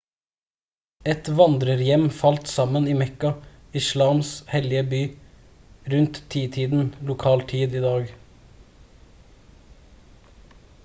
et vandrerhjem falt sammen i mekka islams hellige by rundt titiden lokal tid i dag